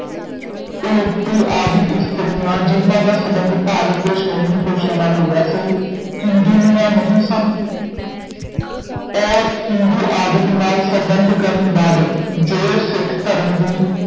ਉਲੂਪੀ ਆਦਿਕ ਇਸਤ੍ਰੀਆਂ ਜਿਹਨਾਂ ਦਾ ਸੰਬੰਧ ਭਾਰਤ ਦੇ ਸ਼੍ਰੋਮਣੀ ਪੁਰਸ਼ਾਂ ਨਾਲ ਹੋਇਆ ਸੀ ਹਿੰਦੁਨੀਆਂ ਨਹੀਂ ਸਨ ਔਰ ਹਿੰਦੂ ਆਦਿਕ ਨਾਲ ਸੰਬੰਧ ਕਰਨ ਬਾਬਤ ਜੋ ਸਿੱਖ ਧਰਮ ਦੀ